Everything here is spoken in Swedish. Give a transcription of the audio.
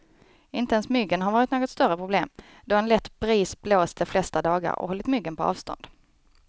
Inte ens myggen har varit något större problem, då en lätt bris blåst de flesta dagar och hållit myggen på avstånd.